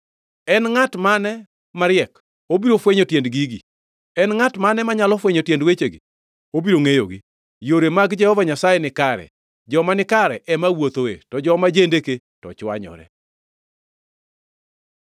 En ngʼat mane mariek? Obiro fwenyo tiend gigi. En ngʼat mane manyalo fwenyo tiend wechegi? Obiro ngʼeyogi. Yore mag Jehova Nyasaye nikare, joma nikare ema wuothoe, to joma jendeke to chwanyore.